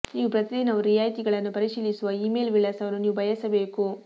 ನೀವು ಪ್ರತಿ ದಿನವೂ ರಿಯಾಯಿತಿಗಳನ್ನು ಪರಿಶೀಲಿಸುವ ಇಮೇಲ್ ವಿಳಾಸವನ್ನು ನೀವು ಬಯಸಬೇಕು